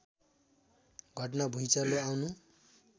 घटना भुँइचालो आउनु